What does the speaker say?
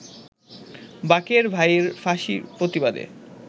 বাকের ভাইর ফাঁসির প্রতিবাদে